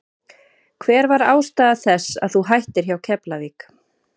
Hver var ástæða þess að þú hættir hjá Keflavík?